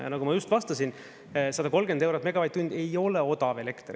Ja nagu ma just vastasin: 130 eurot megavatt-tund ei ole odav elekter.